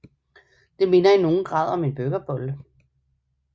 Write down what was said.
Det minder i nogen grad om en burgerbolle